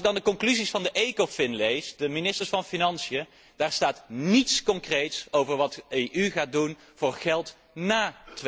Als ik dan de conclusies van de ECOFIN lees, de ministers van Financiën, daarin staat niets concreets over wat de EU gaat doen wat betreft geld ná